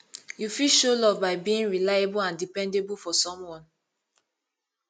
you fit show love by being reliable and dependable for someone